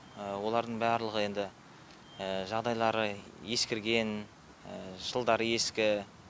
олардың барлығы енді жағдайлары ескірген жылдары ескі